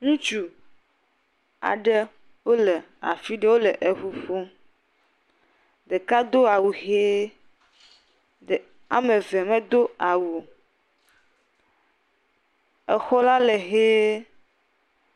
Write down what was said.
Ŋutsu aɖe wole afiɖe le ʋu ƒom. Ɖeka Do awu ɣi, woame eve medo awu o. Exɔ la le ɣie.